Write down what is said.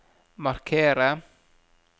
markere